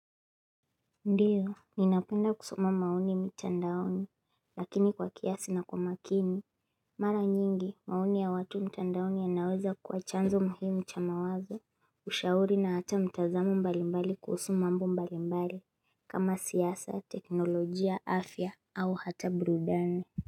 Ndiyo, ninapenda kusoma maoni mitandaoni, lakini kwa kiasi na kwa makini, mara nyingi, maoni ya watu mitandaoni ya naweza kua chanzo muhimu chamawazo, ushauri na hata mtazamo mbalimbali kuhusu mambo mbalimbali, kama siasa, teknolojia, afya, au hata burudani.